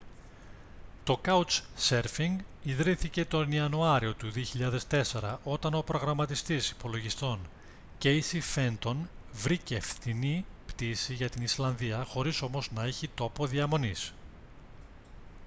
το couchsurfing ιδρύθηκε τον ιανουάριο του 2004 όταν ο προγραμματιστής υπολογιστών κέισι φέντον βρήκε φθηνή πτήση για την ισλανδία χωρίς όμως να έχει τόπο διαμονής